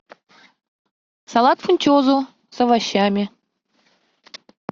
салат фунчозу с овощами